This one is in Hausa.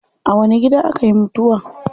A wani gida akayi mutuwa?